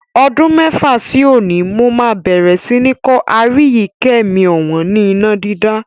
Ọdún mẹ́fà sí òní, mó máa bẹ̀rẹ̀ sí ni kọ́ Aríyìíkẹ́ mi ọ̀wọ́n ni iná dídá.